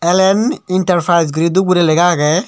L N enterprise guri dhup guri lega aage.